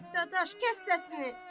Qardaş, kəs səsini.